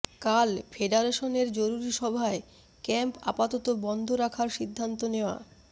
কাল ফেডারেশনের জরুরি সভায় ক্যাম্প আপাতত বন্ধ রাখার সিদ্ধান্ত নেওয়া